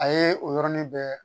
A ye o yɔrɔnin bɛɛ